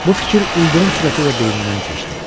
Bu fikir ildırım sürəti ilə beynimdən keçdi.